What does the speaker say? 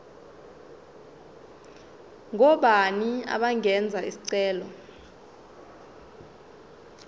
ngobani abangenza isicelo